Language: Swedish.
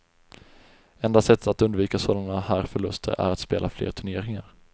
Enda sättet att undvika sådana här förluster är att spela fler turneringar.